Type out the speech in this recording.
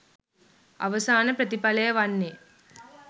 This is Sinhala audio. අවසාන ප්‍රතිඵලය වන්නේ